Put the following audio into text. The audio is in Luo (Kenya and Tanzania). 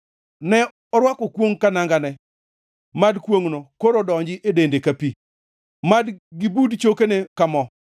Ne orwako kwongʼ ka nangane; mad kwongʼno koro donji e dende ka pi, mad gibud chokene ka mo.